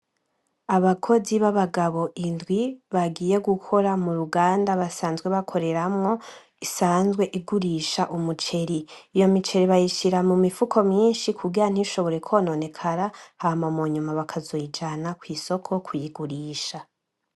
Abakozi babagabo indwi bagiye gukora muuruganda basanzwe bakoreramwo , isanzwe igurisha umuceri , iyo miceri bayishira mumifuko myinshi , kugira ntishobore kononekara hama munyuma bazoyijana kwisoko kuyigurisha.